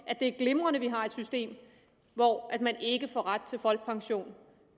at det er glimrende at vi har et system hvor man ikke får ret til folkepension